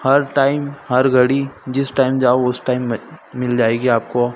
हर time हर घड़ी जिस टाइम जाओ उस टाइम में मिल जाएगी आपको--